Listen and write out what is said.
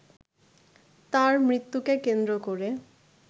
তাঁর মৃত্যুকে কেন্দ্র করে